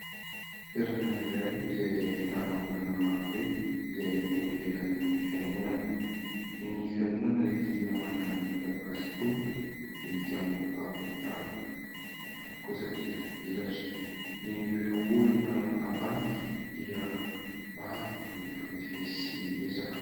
Toerana iray izay ahitana olona marobe izay eny ivelan'ny fiangonana. Ny fiangonana dia manana ny mampiavaka azy tokoa amin'ny tilikambo avo dia avo, ny ambany kosa dia mivelatra. Ireo olona ambany dia maro ny mifamezivezy sy miresaka.